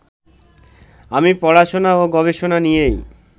আমি পড়াশোনা ও গবেষণা নিয়েই